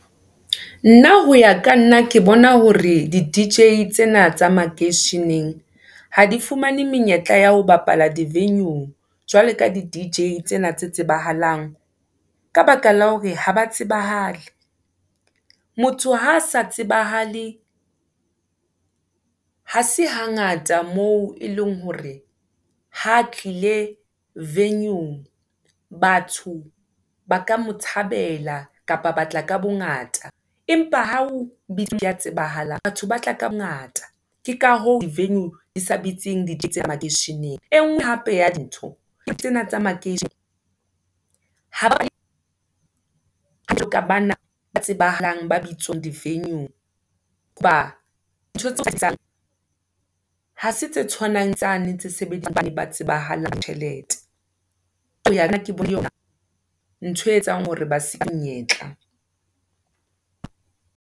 Na hoya ka nna, ke bona hore, di-D_J tsena tsa makeisheneng, ha di fumane menyetla ya ho bapala di-venue-ng, jwale ka di-D_J tsena tsa tsebahalang, ka baka la hore ha ba tsebahale, motho ha sa tsebahale, ha se hangata moo, e leng hore ha tlile venue-ng, batho ba ka mo thabela, kapa batla ka bongata, empa ha o ya tsebahalang, batho ba tla ka bongata. Ke ka hoo di-venue di sa bitsing makeisheneng, e ngwe hape ya dintho, ke tsena tsa , ha bana ba tsebahalang ba bitswang di-venyue-ng, dintho tseo ha se tse tshwanang le tsane tse sebediswang, ke ba tsebahalang, ba tjhelete, ke yona ntho e etsang hore ba se monyetla.